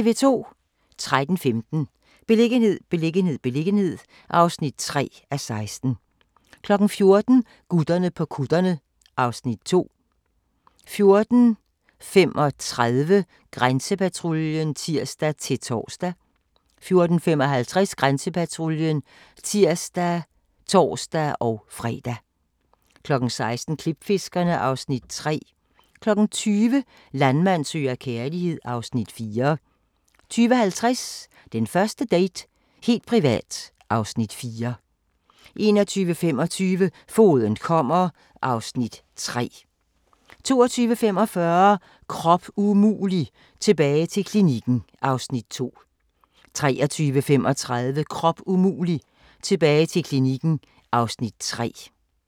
13:15: Beliggenhed, beliggenhed, beliggenhed (3:16) 14:00: Gutterne på kutterne (Afs. 2) 14:35: Grænsepatruljen (tir-tor) 14:55: Grænsepatruljen (tir og tor-fre) 16:00: Klipfiskerne (Afs. 3) 20:00: Landmand søger kærlighed (Afs. 4) 20:50: Den første date - helt privat (Afs. 4) 21:25: Fogeden kommer (Afs. 3) 22:45: Krop umulig – tilbage til klinikken (Afs. 2) 23:35: Krop umulig – tilbage til klinikken (Afs. 3)